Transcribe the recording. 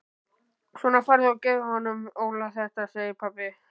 Svona farðu og gefðu honum Óla þetta segir pabbi.